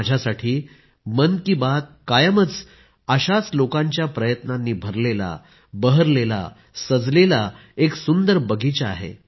माझ्यासाठी मन की बात कायमच अशाच लोकांच्या प्रयत्नांनी भरलेला बहरलेला सजलेला एक सुंदर बगिचा आहे